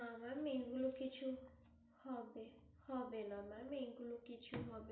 না ma'am এইগুলো কিছু হবে~হবেনা ma'am এইগুলো কিছু,